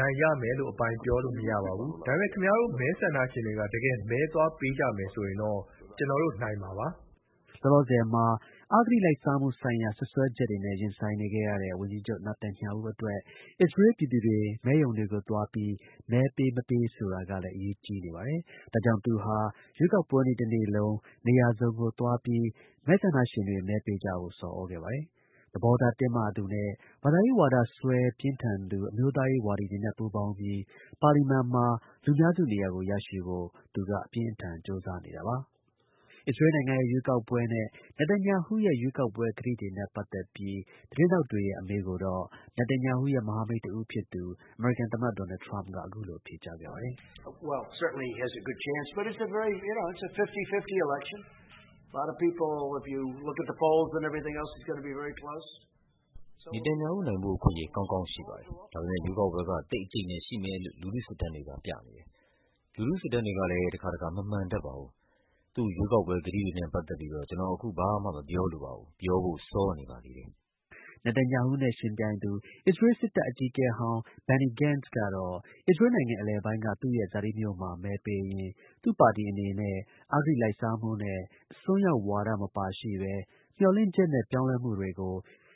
နိုင်ရမယ်လို့ အပိုင်ပြောလို့ မရပါဘူး။ ဒါပေမဲ့ ခင်ဗျားတို့ မဲဆန္ဒရှင်တွေက တကယ် မဲသွားပေးကြမယ်ဆိုရင်တော့ ကျွန်တော်တို့ နိုင်မှာပါ။” လောလောဆယ်မှာ အဂတိလိုက်စား မှုဆိုင်ရာ တရားစွဲဆိုချက်တွေနဲ့ ရင်ဆိုင်နေရတဲ့ ဝန်ကြီးချုပ် Netanyahu အတွက် အစ္စရေးလ် ပြည်သူတွေ မဲရုံတွေကို သွားပြီး မဲ ပေးမပေး ဆိုတာကလည်း အရေးကြီးနေပါတယ်။ ဒါကြောင့် သူဟာ ရွေးကောက်ပွဲနေ့ တစ်နေ့လုံး နေရာစုံကို သွားပြီး မဲဆန္ဒရှင်တွေ မဲပေးကြဖို့ ဆော်သြခဲ့ပါတယ်။ သဘောထား တင်းမာသူနဲ့ ဘာသာရေးဝါဒစွဲ ပြင်းထန်သူ အမျိုးသားရေး ဝါဒီတွေနဲ့ ပူးပေါင်းပြီး ပါလီမန်မှာ လူများစု နေရာကို ရရှိဖို့ သူက အပြင်းအထန် ကြိုးစားနေတာပါ။ အစ္စရေးလ်နိုင်ငံရဲ့ ရွေးကောက်ပွဲနဲ့ Netanyahu ရဲ့ ရွေးကောက်ပွဲ ကတိတွေနဲ့ ပတ်သက်ပြီး သတင်းထောက်တွေရဲ့ အမေးကိုတော့ Netanyahu ရဲ့ မဟာမိတ် တစ်ဦးဖြစ်သူ အမေရိကန် သမ္မတ ဒေါ်နယ်ထရမ့်က အခုလို ဖြေကြားခဲ့ပါတယ်။ “သူနိုင်ဖို့ အခွင့်အရေး ကောင်းကောင်း ရှိပါတယ်။ ဒါပေမဲ့ ရွေးကောက်ပွဲက သိပ် အကြိတ်အနယ် ရှိမယ်လို့ လူထု စစ်တမ်းတွေက ပြနေတယ်။ လူထု စစ်တမ်းတွေဟာလည်း တစ်ခါတစ်ခါ မမှန်တတ်ပါဘူး။ သူ့ ရွေးကောက်ပွဲ ကတိတွေနဲ့ ပတ်သက်ပြီးတော့ ကျွန်တော် အခု ဘာမှာ မပြောလို ပါဘူး။ ပြောဖို့ စောနေပါသေးတယ်။” Netanyhu နဲ့ ယှဉ်ပြိုင်သူ အစ္စရေးလ် စစ်တပ် အကြီးအကဲဟောင်း Benny Gantz ကတော့ အစ္စရေးလ်းနိုင်ငံ အလယ်ပိုင်းက သူ့ရဲ့ ဇာတိမြို့မှာ မဲပေးရင်း သူ့ပါတီအနေနဲ့ အဂတိလိုက်စားမှုနဲ့ အစွန်းရောက်ဝါဒ မပါရှိဘဲ မျှော်လင့်ချက်နဲ့ ပြောင်းလဲမှုကို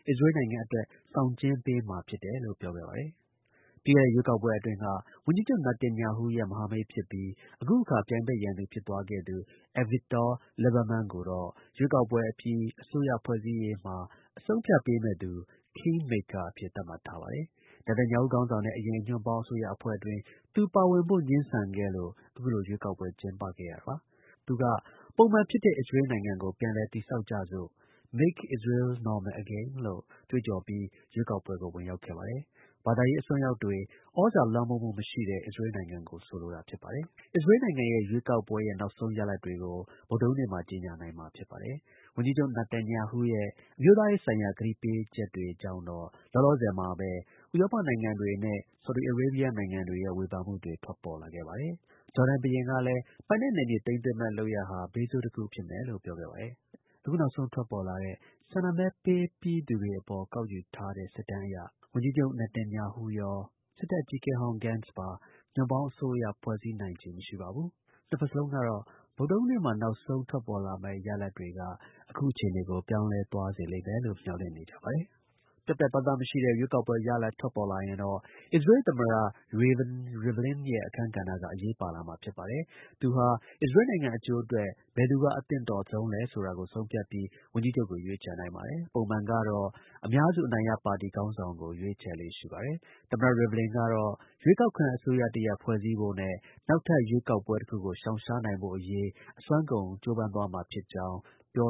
အစ္စရေးလ် နိုင်ငံအတွက်ဆောင်ကျဉ်း ပေးမှာ ဖြစ်တယ်လို့ ပြောခဲ့ပါတယ်။ ပြီးခဲ့တဲ့ ရွေးကောက်ပွဲအတွင်းက ဝန်ကြီးချုပ် Netanyahu ရဲ့ မဟာမိတ် ဖြစ်ပြီး အခုအခါ ပြိုင်ဖက် ရန်သူ ဖြစ်သွားခဲ့သူ Avigdor Liebermann ကိုတော့ ရွေးကောက်ပွဲအပြီး အစိုးရဖွဲ့စည်းရေးမှာ အဆုံးအဖြတ်ပေးမယ့်သူ (king maker) အဖြစ် သတ်မှတ်ထားပါတယ်။ Netanyahu ခေါင်းဆောင်တဲ့ အရင် ညွန့်ပေါင်း အစိုးရအဖွဲ့အတွင်း သူ ပါဝင်ဖို့ ငြင်းဆန်ခဲ့လို့ အခုလို ရွေးကောက်ပွဲ ကျင်းပခဲ့ရတာပါ။ သူက ပုံမှန်ဖြစ်တဲ့ အစ္စရေးလ်နိုင်ငံကို ပြန်လည် တည်ဆောက်ကြစို့ Make Israel Normal Again လို့ ကြွေးကြော်ပြီး ရွေးကောက်ပွဲကို ဝင်ရောက်ခဲ့ ပါတယ်။ ဘာသာရေး အစွန်းရောက်တွေ သြဇာ လွှမ်းမိုးမှု မရှိတဲ့ အစ္စရေးလ် နိုင်ငံကို ဆိုလိုတာ ဖြစ်ပါတယ်။ အစ္စရေးလ်နိုင်ငံရဲ့ ရွေးကောက်ပွဲရဲ့ နောက်ဆုံး ရလဒ်တွေကို ဗုဒ္ဓဟူးနေ့မှာ ကြေညာနိုင်မှာ ဖြစ်ပါတယ်။ ဝန်ကြီးချုပ် Netanyahu ရဲ့အမျိုးသား ရေးဆိုင်ရာ ကတိပေးချက်တွေကြောင့် လောလောဆယ်မှာပဲ ဥရောပနိုင်ငံတွေနဲ့ ဆော်ဒီအာရေဘီယား နိုင်ငံတွေရဲ့ ဝေဖန်မှုတွေ ထွက်ပေါ်လာခဲ့ပါပြီ။ ဂျော်ဒန် ဘုရင်ဟူစိန်ကလည်း ပိုင်နယ်နယ်မြေ သိမ်းသွင်းမယ့်လုပ်ရပ်ဟာ ဘေးဆိုးတစ်ခု ဖြစ်မယ် လို့ ပြောခဲ့ပါတယ်။ အခု နောက်ဆုံး ရရှိတဲ့ မဲရုံထွက် ကနဦး ကောက်ယူတဲ့ စစ်တမ်းတွေမှာတော့ လက်ရှိ ဝန်ကြီးချုပ် Netanyahu ရော စစ်တပ် အကြီးအကဲဟောင်း Gantz ပါ အစိုးရ ဖွဲ့နိုင်လောက် အနိုင်ရရှိသေးပါဘူ။ နှစ်ဘက်စလုံးကတော့ ဗုဒ္ဓနေ့မှာ ရရှိမယ့် နောက်ဆုံး မဲ ရလဒ်တွေက အခု အခြေအနေကို ပြောင်းလဲသွားစေလိမ့်လို့ မျှော်လင့်နေကြပါတယ်။ ပြတ်ပြတ်သားသား မရှိတဲ့ ရွေးကောက်ပွဲ ရလဒ် ထွက်ပေါ်လာရင်တော့ အစ္စရေးလ် သမ္မတ Reuven Rivlin ရဲ့ အခန်းကဏ္ဍက အရေးပါလာမှာ ဖြစ်ပါတယ်။ သူဟာ အစ္စရေးလ်နိုင်ငံအကျိုးအတွက် ဘယ်သူက အသင့်တော်ဆုံးလဲဆိုတာကို ဆုံးဖြတ်ပြီး ဝန်ကြီးချုပ်ကို ရွေးချယ်နိုင်ပါတယ်။ ပုံမှန်ကတော့ အများစု အနိုင်ရ ပါတီ ခေါင်းဆောင်ကို ရွေးချယ်လေ့ရှိပါတယ်။ သမ္မတ Rivlin ကတော့ ရွေးကောက်ခံ အစိုးရတစ်ရပ် ဖွဲ့စည်းဖို့နဲ့ နောက်ထပ် ရွေးကောက်ပွဲ တစ်ခုကို ရှောင်ရှားနိုင်ဖို့ရေး အစွမ်းကုန် ကြိုးပမ်းသွားမှာဖြစ်ကြောင်း ပြော